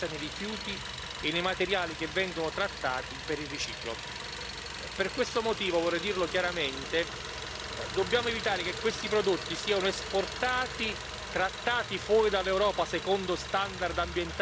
Per questo motivo vorrei dire chiaramente che dobbiamo evitare che questi prodotti siano esportati e trattati fuori dall'Europa secondo standard ambientali che non sono i nostri e poi ritornino in Europa dalla finestra.